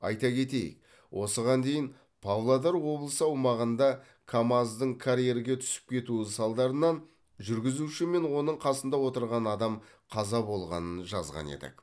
айта кетейік осыған дейін павлодар облысы аумағында камаз дың карьерге түсіп кетуі салдарынан жүргізуші мен оның қасында отырған адам қаза болғанын жазған едік